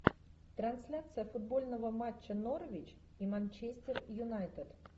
трансляция футбольного матча норвич и манчестер юнайтед